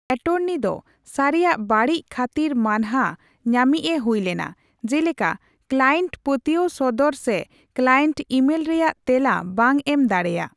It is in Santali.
ᱮᱴᱚᱨᱱᱤ ᱫᱚ ᱥᱟᱹᱨᱤᱭᱟᱜ ᱵᱟᱹᱲᱤᱡ ᱠᱷᱟᱹᱛᱤᱨ ᱢᱟᱹᱱᱦᱟᱹ ᱧᱟᱢᱤᱪᱼᱮ ᱦᱩᱭᱞᱮᱱᱟ, ᱡᱮᱞᱮᱠᱟ ᱠᱞᱟᱭᱮᱱᱴ ᱯᱟᱹᱛᱤᱭᱟᱹᱣ ᱥᱚᱫᱚᱨ ᱥᱮ ᱠᱞᱟᱭᱮᱱᱴ ᱤᱢᱮᱞ ᱨᱮᱭᱟᱜ ᱛᱮᱞᱟ ᱵᱟᱝ ᱮᱢ ᱫᱟᱲᱮᱭᱟᱜ ᱾